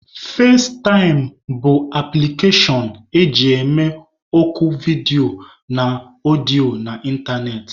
Fazetaịm bụ apụlikashon eji eme oku vidiyo na ọdịọ na ịntanetị.